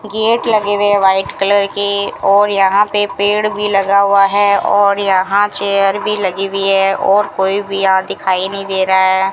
Gate लगे हुए white colour के और यहां पे पेड़ भी लगा हुआ है और यहां चेयर भी लगी हुई है और कोई भी यहां दिखाई नहीं दे रहा है।